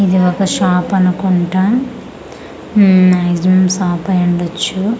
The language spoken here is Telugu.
ఇది ఒక షాప్ అనుకుంట ఉమ్ మాక్సిమం షాప్ అయ్యుండొచ్చు.